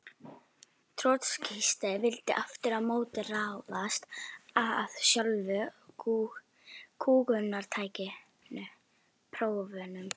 Trotskíistar vildu aftur á móti ráðast að sjálfu kúgunartækinu: prófunum.